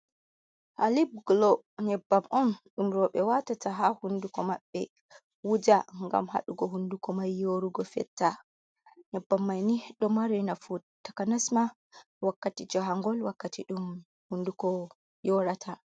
Halib glo. Nyebbam on dum robe watata ha hunduko maɓɓe wuja ngam hadugo hunduko mai yorugo fetta. Nƴebbam maini do mari nafu takanesma wakkati jangol, wakkati dum hunduko yorata.